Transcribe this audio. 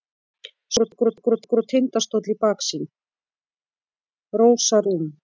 Rósa Rún